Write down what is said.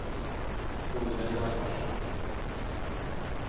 Olle Hjalmarsson